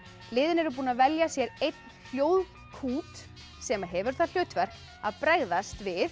liðin eru búin að velja sér einn hljóðkút sem hefur það hlutverk að bregðast við